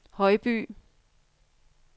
Højby